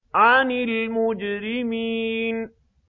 عَنِ الْمُجْرِمِينَ